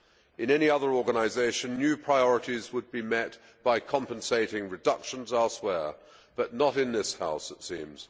In any other organisation, new priorities would be met by compensating reductions elsewhere, but not in this House it seems.